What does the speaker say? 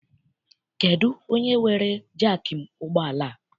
Kedụ onye weere jaakị ụgbọala a?